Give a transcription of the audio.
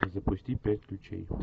запусти пять ключей